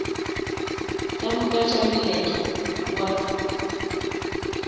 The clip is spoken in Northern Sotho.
ka moka tša moletlo wa